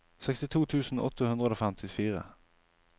sekstito tusen åtte hundre og femtifire